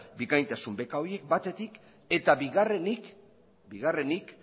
bikaintasun beka horiek batetik eta bigarrenik